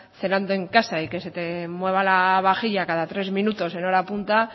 cenando en casa y que se te mueva la vajilla cada tres minutos en hora punta